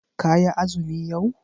Ka yi azumi yau?